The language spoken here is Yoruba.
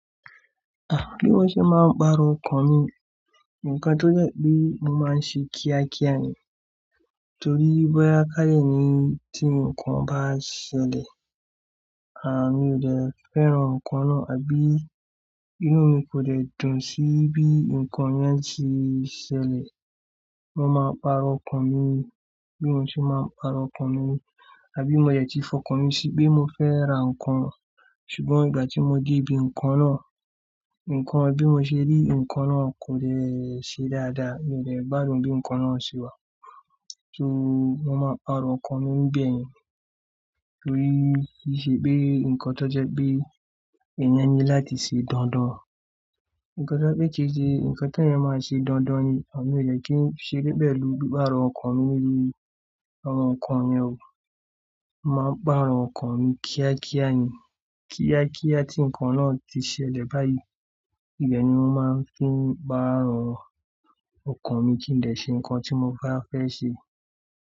Ah! Bí mọ́ ṣe máa ń pàrọ̀ ọkàn mi, ǹkan tó jẹ́ pé mo máa ń ṣe kíá kíá ni. Torí bóyá káàle ni tí ǹkan bá ṣẹlẹ̀, à mi ò dẹ fẹ́ràn ǹkan náà àbí inú mi kò dẹ dùn sí bí ǹkan yẹn tí ṣẹlẹ̀. Mo máa pàrọ̀ ọkàn mi. Bí mo ṣe máa ń pàrọ̀ ọkàn mi, àbí mo dẹ̀ tí fọkàn mi sí pé mo fẹ́ ra ǹkan, ṣùgbọ́n ìgbà tí mo dé ibi ǹkan náà, ǹkan bí mo ṣe rí ǹkan náà kò lẹ ṣe dáadáa, mi ò lè gbádùn bí ǹkan náà ṣe wà. So mo máa pàrọ̀ ọkàn mi nibẹ̀ ni. Torí í ṣe pé ǹkan tó jẹ́ pé èèyàn ní láti ṣe dandan. Ǹkan tó jẹ́ kí ṣe ǹkan tó yẹ máa ṣe dandan ni, à mí ò le kí n ṣe níbẹ̀ lórí pàrọ̀ ọkàn mi lórí àwọn ǹkan yẹn o. Mo máa ń pàrọ̀ ọkàn mi kíá kíá ni. Kíá kíá tí ǹkan náà tí ṣẹlẹ̀ báyìí, bẹ́ẹ̀ ni wọn máa ń fi pàrọ̀ ọkàn mi kí n lè ṣe ǹkan tí mo bá fẹ́ ṣe.